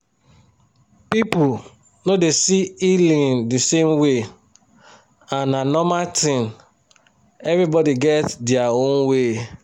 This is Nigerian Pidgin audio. people no dey see healing the same way and na normal thin everybody get their own way.